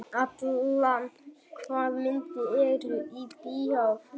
Allan, hvaða myndir eru í bíó á fimmtudaginn?